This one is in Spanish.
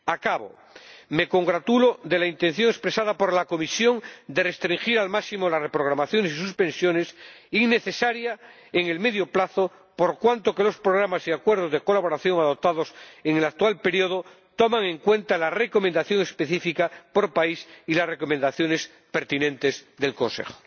Acabo me congratulo de la intención expresada por la Comisión de restringir al máximo las reprogramaciones y suspensiones, innecesarias en el medio plazo, por cuanto que los programas y acuerdos de colaboración adoptados en el actual periodo toman en cuenta la recomendación específica por país y las recomendaciones pertinentes del Consejo.